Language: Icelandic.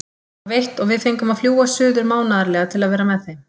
Það var veitt og við fengum að fljúga suður mánaðarlega til að vera með þeim.